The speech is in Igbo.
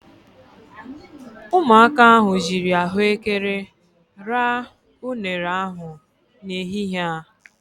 Ụmụaka ahụ jiiri ahụekere ra unere ahụ n'ehihie a.